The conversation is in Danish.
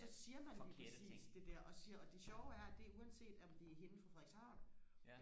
så siger man lige præcis det der og så siger jeg det sjove er at det er uanset om det er hende fra Frederikshavn